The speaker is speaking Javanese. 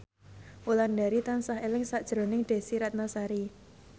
Wulandari tansah eling sakjroning Desy Ratnasari